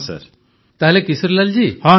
ପ୍ରଧାନମନ୍ତ୍ରୀ ତାହେଲେ କିଶୋରୀଲାଲ ଏ କଥା କୁହନ୍ତୁ